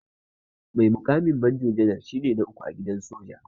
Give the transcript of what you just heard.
Mai mukamin manjo janar shine na uku a gidan soja.